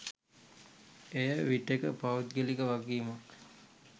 එය විටෙක පෞද්ගලික වගකීමක්